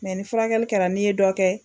Mɛ ni furakɛli kɛra n'i ye dɔ kɛ